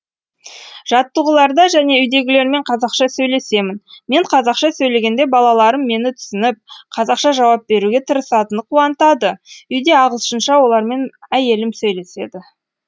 жаттығуларда және үйдегілермен қазақша сөйлесемін мен қазақша сөйлегенде балаларым мені түсініп қазақша жауап беруге тырысатыны қуантады үйде ағылшынша олармен әйелім сөйлеседі